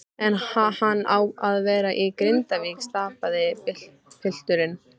En ha-hann á að vera í Grindavík, stamaði pilturinn.